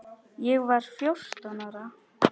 Ég var fjórtán ára.